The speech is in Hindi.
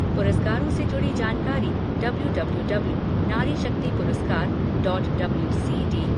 पुरस्कारों से जुड़ी जानकारी डब्ल्यू डब्ल्यू डब्ल्यू नारीशक्ति पुरस्कार डॉट डब्ल्यू सी डी